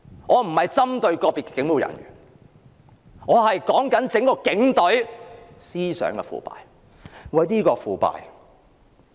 我不是針對個別警務人員，只是想指出整個警隊的思想腐敗。